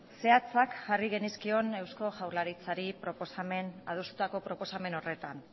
zehatzak jarri genizkion eusko jaurlaritzari adostuko proposamen horretan